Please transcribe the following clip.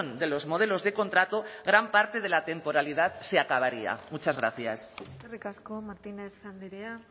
de los modelos de contrato gran parte de la temporalidad se acabaría muchas gracias eskerrik asko martínez andrea